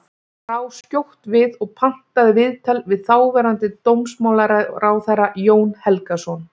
Ég brá skjótt við og pantaði viðtal við þáverandi dómsmálaráðherra, Jón Helgason.